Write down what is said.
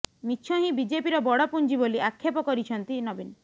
ମିଛ ହିଁ ବିଜେପିର ବଡ଼ ପୁଞ୍ଜି ବୋଲି ଆକ୍ଷେପ କରିଛନ୍ତି ନବୀନ